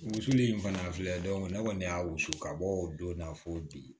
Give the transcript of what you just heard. Wusuli in fana filɛ ne kɔni y'a wusu ka bɔ o don na fo bi